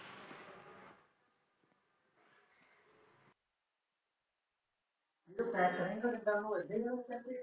ਜਦੋ ਪੈਸਾ ਨਹੀ ਬਣਦਾ ਉਦੋ ਹੋਰਜੇ ਲੋਕ ਕਹਿੰਦੇ ਆ